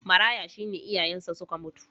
Maraya shi ne iyayensa suka mutu.